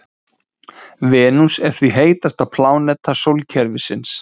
Venus er því heitasta pláneta sólkerfisins.